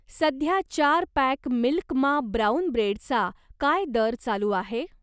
सध्या चार pack milk मा ब्राऊन ब्रेडचा काय दर चालू आहे?